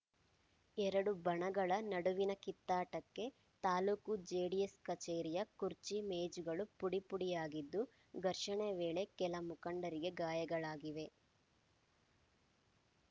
ಎರಡು ಬಣಗಳ ನಡುವಿನ ಕಿತ್ತಾಟಕ್ಕೆ ತಾಲೂಕು ಜೆಡಿಎಸ್‌ ಕಚೇರಿಯ ಕುರ್ಚಿ ಮೇಜುಗಳು ಪುಡಿ ಪುಡಿಯಾಗಿದ್ದು ಘರ್ಷಣೆ ವೇಳೆ ಕೆಲ ಮುಖಂಡರಿಗೆ ಗಾಯಗಳಾಗಿವೆ